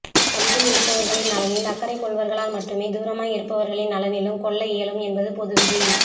அருகில் இருப்பவர்களின் நலனில் அக்கறை கொள்வர்களால் மட்டுமே தூரமாய் இருப்பவர்களின் நலனிலும் கொள்ள இயலும் என்பது பொது விதி